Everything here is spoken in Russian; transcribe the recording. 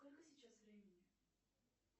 сколько сейчас времени